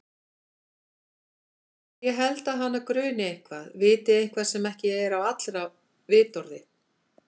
En ég held að hana gruni eitthvað, viti eitthvað sem ekki er á allra vitorði.